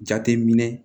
Jate minɛ